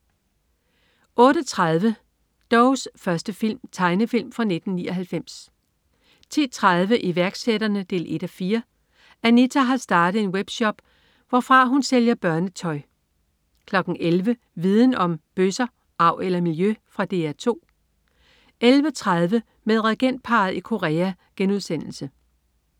08.30 Dougs første film. Tegnefilm fra 1999 10.30 Iværksætterne 1:4. Anita har startet en web-shop, hvorfra hun sælger børnetø 11.00 Viden Om: Bøsser. Arv eller miljø? Fra DR 2 11.30 Med regentparret i Korea*